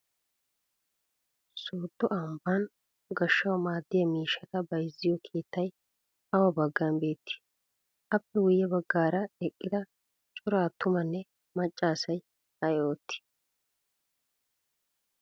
Sooddo ambban goshshawu maaddiyaa miishshata bayizziyo keetayi awa baggan beettii? Appe guyye baggaara eqqida cora attumanne macca asay ayi oottii?